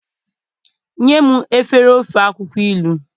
nyem efere ofe akwukwo ilu